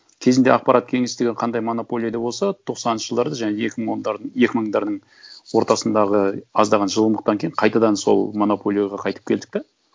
кезінде ақпарат кеңістігі қандай монополияда болса тоқсаныншы жылдарда және екі мың ондардың екі мыңдардың ортасындағы аздаған жылымықтан кейін қайтадан сол монополияға қайтып келдік та